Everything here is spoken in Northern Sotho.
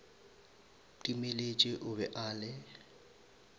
timeletše o be a le